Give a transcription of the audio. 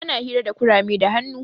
Ana hira da kurame da hannu.